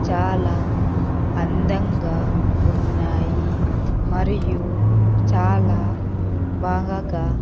చాలా అందంగా ఉన్నాయి మరియు చాలా బాగా.